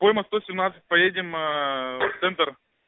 поедем в центр